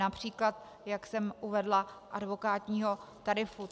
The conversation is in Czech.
Například, jak jsem uvedla, advokátního tarifu.